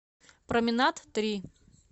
променад три